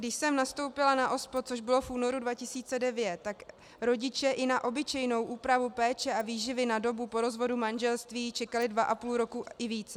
Když jsem nastoupila na OSPOD, což bylo v únoru 2009, tak rodiče i na obyčejnou úpravu péče a výživy na dobu po rozvodu manželství čekali dva a půl roku i více.